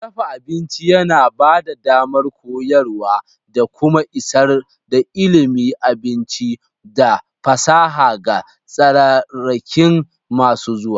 Dafa abinci yana ba da damar koyarwa da kuma isar da ilimin abinci da fasaha ga tsararraki masu zuwa.